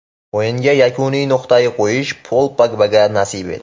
O‘yinga yakuniy nuqtani qo‘yish Pol Pogbaga nasib etdi.